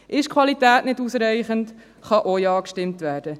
Ist die Qualität nicht ausreichend, kann auch Ja gestimmt werden.